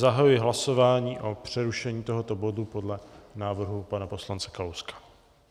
Zahajuji hlasování o přerušení tohoto bodu podle návrhu pana poslance Kalouska.